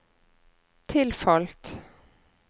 tilfalt